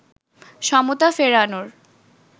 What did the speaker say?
সমতা ফেরানোর